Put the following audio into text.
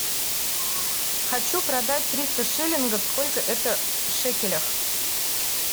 хочу продать триста шиллингов сколько это в шекелях